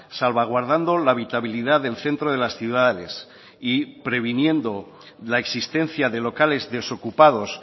salvaguardando la habitabilidad del centro de las ciudades y previniendo la existencia de locales desocupados